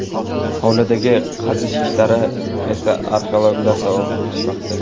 Hovlidagi qazish ishlarini esa arxeologlar davom ettirishmoqda.